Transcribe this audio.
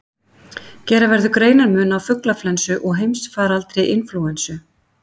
Gera verður greinarmun á fuglaflensu og heimsfaraldri inflúensu.